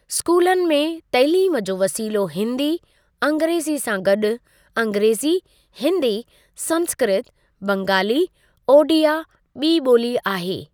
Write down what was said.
स्कूलनि में तइलीम जो वसीलो हिन्दी, अंग्रेज़ी सां गॾु अंग्रेज़ी, हिन्दी, संस्कृत, बंगाली, ओड़िया ॿी ॿोली आहे।